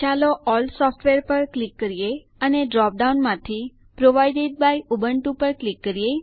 ચાલો all software પર click કરીએ અને ડ્રોપ ડાઉન માંથી પ્રોવાઇડેડ બાય ઉબુન્ટુ પર ક્લિક કરીએ